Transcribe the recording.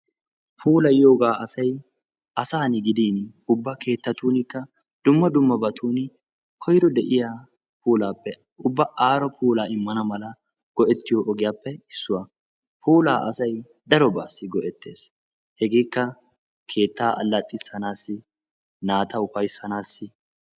Puulayiyooba asayi asaana gidin ubba keettatuunikka dumma dummabatun koyro de"iya puulaappe ubba aaro puulaa immana mala go"ettiyo issuwappe issuwa puulaa asayi darobaassi go"ettes hegeekka keettaa allattissanaassi naata ufayssanaassi.